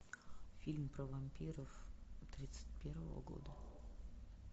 фильм про вампиров тридцать первого года